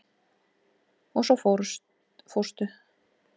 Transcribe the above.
Og svo fórstu.